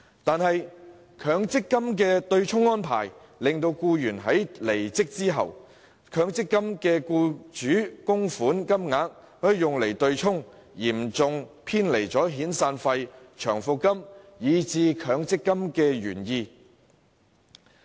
可是，在強積金的對沖安排下，僱員離職時強積金的僱主供款會用作對沖，嚴重偏離了遣散費、長期服務金以至強積金的原意。